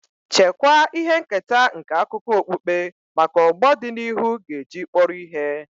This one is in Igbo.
Chekwaa ihe nketa nke akụkọ okpukpe maka ọgbọ dị n'ihu ga-eji kpọrọ ihe.